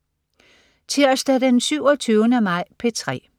Tirsdag den 27. maj - P3: